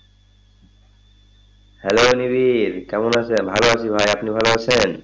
Hello Nibir কেমন আছেন? ভালো আছি, ভাই আপনি ভালো আছেন?